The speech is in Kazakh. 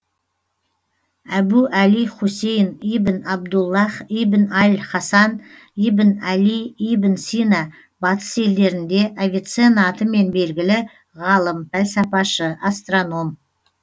әбу әли хусейн ибн абдуллах ибн аль хасан ибн әли ибн сина батыс елдерінде авиценна атымен белгілі ғалым пәлсапашы астроном